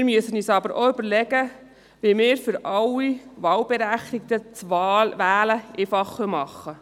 Wir müssen uns aber auch überlegen, wie wir für alle Wahlberechtigten das Wählen einfacher machen.